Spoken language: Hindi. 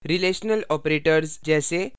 relational operators relational operators जैसे